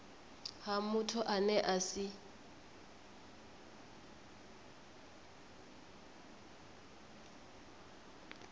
ha muthu ane a si